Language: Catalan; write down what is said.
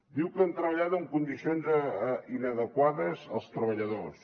diu que han treballat en condicions inadequades els treballadors